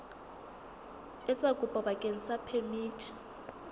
etsa kopo bakeng sa phemiti